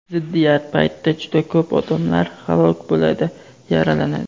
ziddiyat paytida juda ko‘p odamlar halok bo‘ladi, yaralanadi.